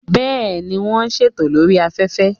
Bẹ́ẹ̀, wọ́n ń ṣètò lórí afẹ́fẹ́